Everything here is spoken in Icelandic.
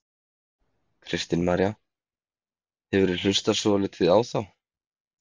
Kristín María: hefurðu hlustað svolítið á þá?